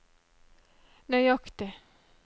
nøyaktig